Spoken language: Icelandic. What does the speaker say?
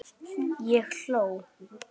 Ég hló.